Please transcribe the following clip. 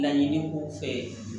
Laɲini ko fɛ